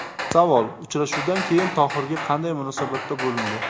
Savol: Uchrashuvdan keyin Tohirga qanday munosabatda bo‘lindi?